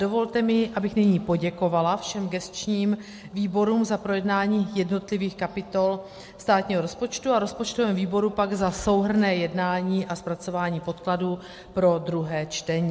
Dovolte mi, abych nyní poděkovala všem gesčním výborům za projednání jednotlivých kapitol státního rozpočtu a rozpočtovému výboru pak za souhrnné jednání a zpracování podkladů pro druhé čtení.